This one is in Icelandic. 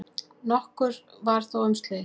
Nokkuð var þó um slys.